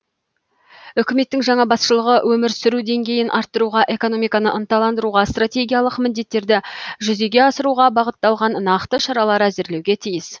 үкіметтің жаңа басшылығы өмір сүру деңгейін арттыруға экономиканы ынталандыруға стратегиялық міндеттерді жүзеге асыруға бағытталған нақты шаралар әзірлеуге тиіс